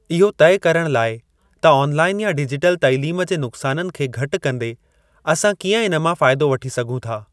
इहो तइ करण लाइ त ऑनलाईन या डिजिटल तइलीम जे नुक्साननि खे घटि कंदे असां कीअं इन मां फ़ाइदो वठी सघूं था।